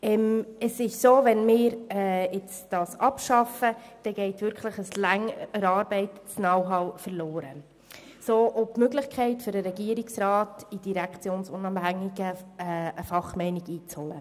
Wenn wir das Gremium abschaffen, geht ein über lange Zeit erarbeitetes Know-how verloren und damit auch die Möglichkeit für den Regierungsrat, eine von den Direktionen unabhängige Fachmeinung einzuholen.